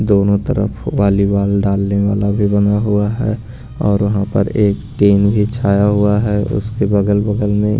दोनों तरफ वालीवाल डालने वाला भी बना हुआ है और वहाँ पर एक टेन भी छाया हुआ है उसके बगल बगल में --